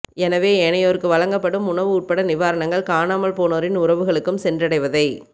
எனவே ஏனையோருக்கு வழங்கப்படும் உணவு உட்பட்ட நிவாரணங்கள் காணாமல் போனோரின் உறவுகளுக்கும் சென்றடைவதை